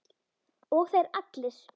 Og þeir allir!